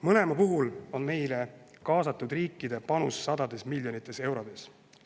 Mõlema puhul on meie poolt kaasatud riikide panus sadades miljonites eurodes.